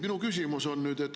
Minu küsimus on selline.